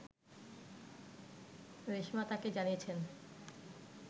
রেশমা তাকে জানিয়েছেন